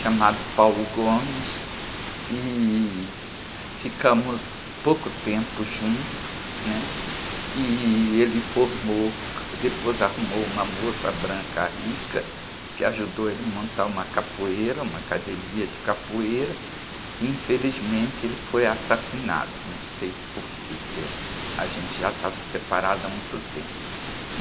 chamado, e ficamos pouco tempo juntos, né? E ele formou, depois arrumou uma moça branca rica, que ajudou ele a montar uma capoeira, uma academia de capoeira, e infelizmente ele foi assassinado, não sei porque, porque a gente já estava separado há muito tempo.